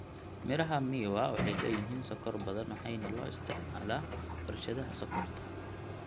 Miraha miwa waxay leeyihiin sokor badan waxayna loo isticmaalaa warshadaha sokorta.